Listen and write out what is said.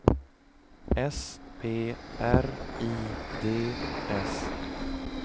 S P R I D S